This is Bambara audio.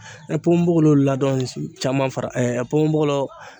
ponbogolo ladɔn caman fara ponbogolo